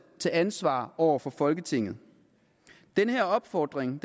til ansvar over for folketinget den her opfordring